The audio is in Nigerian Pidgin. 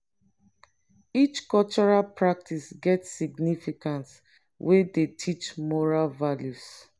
each cultural practice get significance wey dey teach moral values.